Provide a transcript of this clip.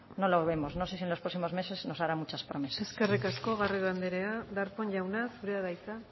no lo vemos no sé si en los próximos meses nos hará muchas promesas eskerrik asko garrido andrea darpón jauna zurea da hitza